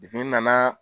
n nana